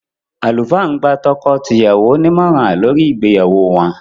Àlùfáà ń gba tọkọ-tìyàwó ní ìmọ̀ràn lórí ìgbéyàwó wọ́n.